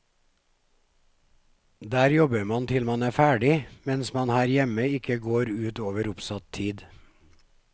Der jobber man til man er ferdig, mens man her hjemme ikke går ut over oppsatt tid.